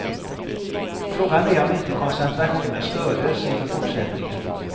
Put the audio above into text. Frågan är om inte koncentrationen stördes inför fortsättningen.